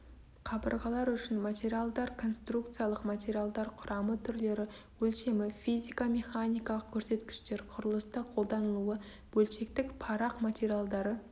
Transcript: қабырғалар үшін материалдар конструкциялық материалдар құрамы түрлері өлшемі физико механикалық көрсеткіштер құрылыста қолданылуы бөлшектік парақ материалдары